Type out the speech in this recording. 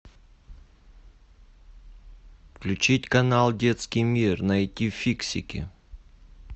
включить канал детский мир найти фиксики